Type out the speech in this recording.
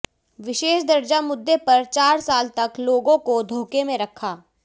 विशेष दर्जा मुद्दे पर चार साल तक लोगों को धोखे में रखा